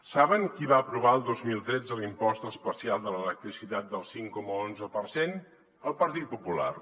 saben qui va aprovar el dos mil tretze l’impost especial de l’electricitat del cinc coma onze per cent el partit popular